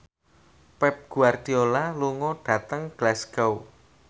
Pep Guardiola lunga dhateng Glasgow